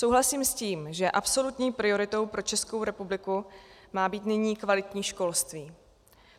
Souhlasím s tím, že absolutní prioritou pro Českou republiku má být nyní kvalitní školství.